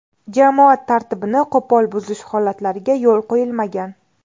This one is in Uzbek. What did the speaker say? Jamoat tartibini qo‘pol buzish holatlariga yo‘l qo‘yilmagan.